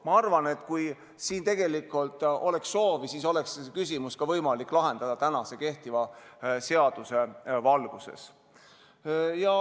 Ma arvan, et kui oleks soovi, siis saaks selle küsimuse lahendada ka tänase, kehtiva seaduse valguses.